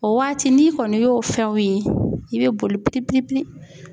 O waati n'i kɔni y'o fɛnw ye i bɛ boli